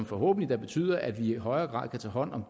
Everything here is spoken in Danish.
forhåbentlig betyder at vi i højere grad kan tage hånd om